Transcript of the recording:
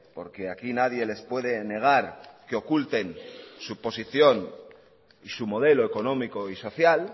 porque aquí nadie les puede negar que oculten su posición y su modelo económico y social